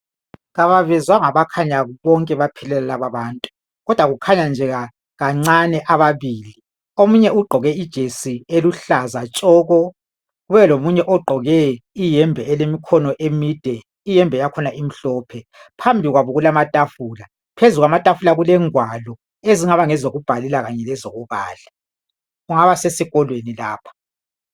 Kabavezwanga bakhanya baphelela laba abantu. Kukhanya nje kancane ababili. Omunye ugqoke ijesi eluhlaza tshoko kube lomunye ogqoke iyembe elemikhono emide. Iyembe yakhona imhlophe. Phambi kwabo kulamatafula. Phezukwamatafula kulengwalo ezingaba ngezokubhalela kanye lezokubala kungaba sesikolweni lapha.